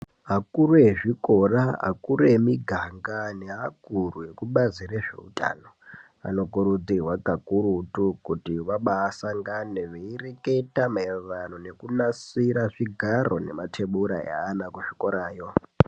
Akuru azvikora akuru emuganga neakuru akubazi rezveutano anokurutirwa kakurutu kuti vabasangane veireketa mairirano nekunasira zvigaro nematebura eana kuzvikoroyo